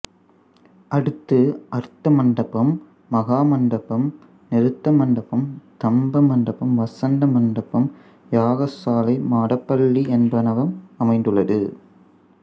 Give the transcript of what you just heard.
அடுத்து அர்த்த மண்டபம் மகா மண்டபம் நிருத்த மண்டபம் தம்ப மண்டபம் வசந்த மண்டபம் யாகசாலை மடப்பள்ளி என்பனவும் அமைந்துள்ளது